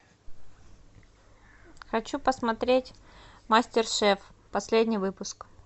хочу посмотреть мастер шеф последний выпуск